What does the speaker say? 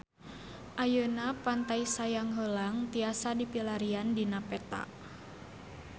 Ayeuna Pantai Sayang Heulang tiasa dipilarian dina peta